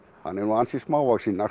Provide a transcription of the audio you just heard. hann er nú ansi smávaxinn